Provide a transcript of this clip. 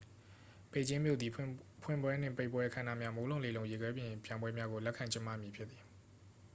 ပေကျင်းမြို့သည် ဖွင့်ပွဲနှင့် ပိတ်ပွဲ အခမ်းအနားများ မိုးလုံလေလုံ ရေခဲပြင်ပြိုင်ပွဲများကို လက်ခံကျင်းပမည်ဖြစ်သည်